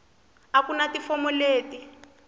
a ku na tifomo leti